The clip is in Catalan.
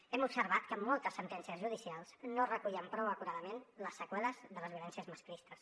hem observat que moltes sentències judicials no recullen prou acuradament les seqüeles de les violències masclistes